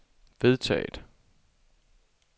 vedtaget